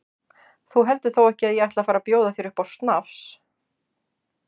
Þú heldur þó ekki að ég ætli að fara að bjóða þér upp á snafs?